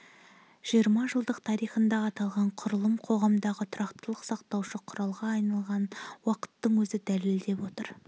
жиырма жылдық тарихында аталған құрылым қоғамдағы тұрақтылықты сақтаушы құралға айналғанын уақыттың өзі дәлелдеп отыр